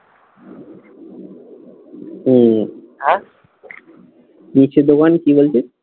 হম হ্যাঁ? মিষ্টির দোকান কি বলছিস?